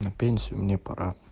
на пенсию мне